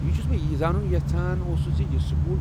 یہِ چُھس بہٕ یی زانُن یژھان اوسس زِ یہِ سکول۔